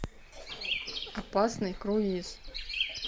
опасный круиз